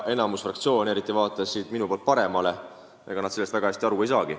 Enamik fraktsioone, eriti need, mis jäävad minust paremale poole, sellest väga hästi aru ei saa.